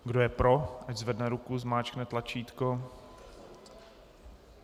Kdo je pro, ať zvedne ruku, zmáčkne tlačítko.